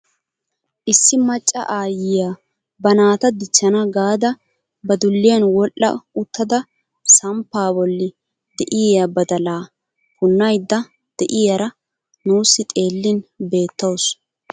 Issi macca aayiyaa ba naata dichchana gaada ba dulliyaan wodhdha uttada samppaa bolli de'iyaa badalaa punnayda de'iyaara nuusi xeellin beettawus.